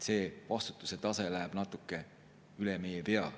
See vastutuse tase läheb natuke üle meie pea.